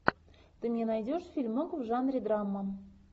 ты мне найдешь фильмок в жанре драма